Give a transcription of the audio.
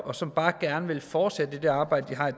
og som bare gerne vil fortsætte i det arbejde de har